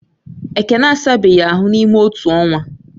Ekene asabeghi ahu n’ịme otu ọnwa